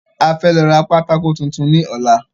A fẹ́ lọ ra pátákó tuntun ní ọ̀la